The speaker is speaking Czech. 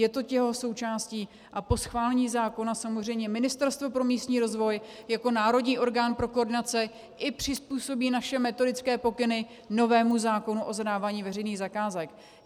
Je to jeho součástí a po schválení zákona samozřejmě Ministerstvo pro místní rozvoj jako národní orgán pro koordinaci i přizpůsobí naše metodické pokyny novému zákonu o zadávání veřejných zakázek.